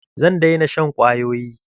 Zan daina shan kwayoyi.